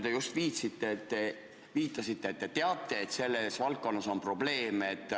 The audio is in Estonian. Te just viitasite, et teie teada selleski valdkonnas on probleeme.